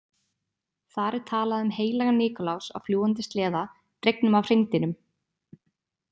Þar er talað um heilagan Nikulás á fljúgandi sleða dregnum af hreindýrum.